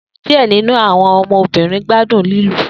Diẹ ninu awọn ọmọbirin gbadun ni lilu